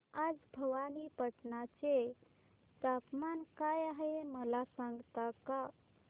आज भवानीपटना चे तापमान काय आहे मला सांगता का